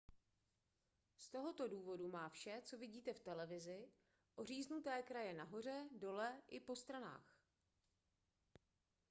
z tohoto důvodu má vše co vidíte v televizi oříznuté kraje nahoře dole i po stranách